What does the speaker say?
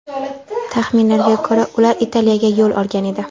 Taxminlarga ko‘ra, ular Italiyaga yo‘l olgan edi.